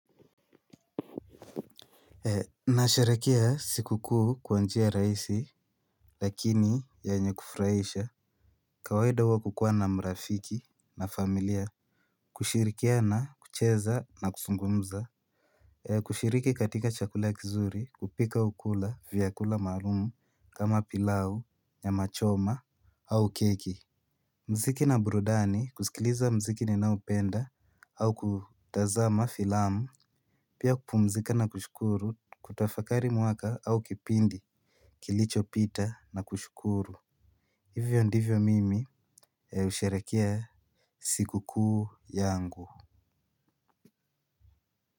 Nasherehekea siku kuu kwa njia rahisi lakini yenye kufurahisha. Kawaida wa kukuwa na marafiki na familia kushirikiana kucheza na kuzungumza kushiriki katika chakula kizuri kupika au kula vyakula maalum kama pilau nyamachoma au keki muziki na burudani kusikiliza muziki ninaopenda au kutazama filamu pia kupumzika na kushukuru kutafakari mwaka au kipindi kilichopita na kushukuru. Hivyo ndivyo mimi ya usherehekea siku kuu yangu.